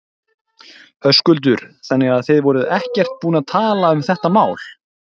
Höskuldur: Þannig að þið voruð ekkert búin að tala um þetta mál?